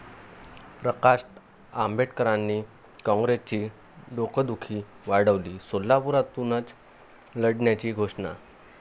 प्रकाश आंबेडकरांनी काँग्रेसची डोकदुखी वाढवली, सोलापुरातूनच लढण्याची घोषणा